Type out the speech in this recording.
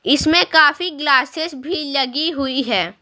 इसमें काफी ग्लासेस भी लगी हुई है।